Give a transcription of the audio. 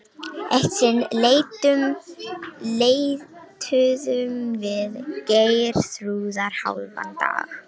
Eitt sinn leituðum við Geirþrúðar hálfan dag.